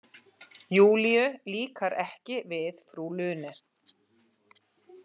Júlíu líkar ekki við frú Lune.